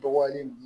Dɔgɔyali ninnu